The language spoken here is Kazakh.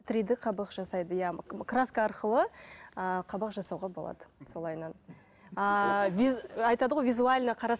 три д қабақ жасайды иә краска арқылы ыыы қабақ жасауға болады солайынан ыыы айтады ғой визуально